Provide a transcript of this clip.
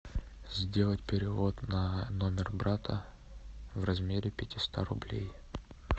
сделать перевод на номер брата в размере пятиста рублей